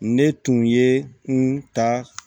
Ne tun ye n ta